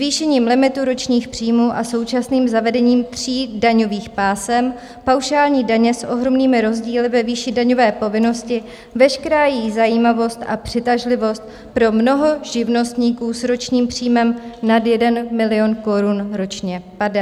Zvýšením limitu ročních příjmů a současným zavedením tří daňových pásem paušální daně s ohromnými rozdíly ve výši daňové povinnosti veškerá její zajímavost a přitažlivost pro mnoho živnostníků s ročním příjmem nad 1 milion korun ročně padá.